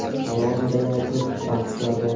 Hali oldinda yana ko‘plab bahslar bor.